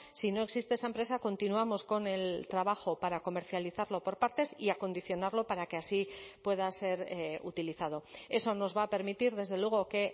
si no existe esa empresa continuamos con el trabajo para comercializarlo por partes y acondicionarlo para que así pueda ser utilizado eso nos va a permitir desde luego que